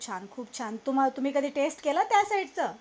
खूप छान खूप छान तुम्ही कधी टेस्ट केल त्या साईडच